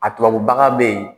A tubabu baga bɛ yen.